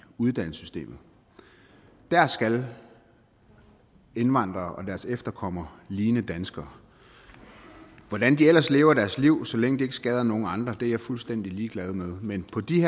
uddannelsessystemet der skal indvandrere og deres efterkommere ligne danskere hvordan de ellers lever deres liv så længe det ikke skader nogen andre er jeg fuldstændig ligeglad med men på de